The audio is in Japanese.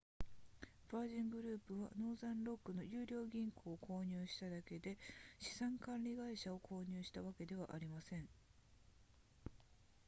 ヴァージングループはノーザンロックの優良銀行を購入しただけで資産管理会社を購入したわけではありません